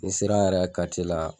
N'i sera yɛrɛ an yɛrɛ ka la